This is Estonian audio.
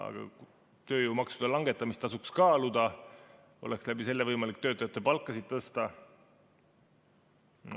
Aga tööjõumaksude langetamist tasuks kaaluda, selle abil oleks võimalik töötajate palka tõsta.